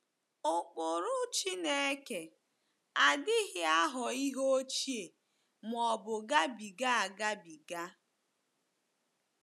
Ụkpụrụ Chineke adịghị aghọ ihe ochie ma ọ bụ gabiga agabiga.